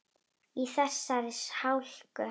Í þessari hálku?